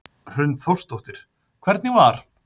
Hrund Þórsdóttir: Hvernig var?